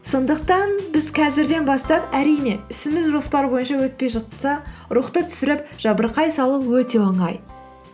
сондықтан біз қазірден бастап әрине ісіміз жоспар бойынша өтпей жатса рухты түсіріп жабырқай салу өте оңай